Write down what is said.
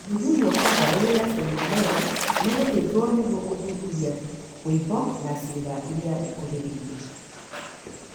Gũthuthurio kwa lymph node ya sentinel na gũthĩnjwo nĩguo kũruta tiuma na ciĩga iria ikuhĩrĩirie.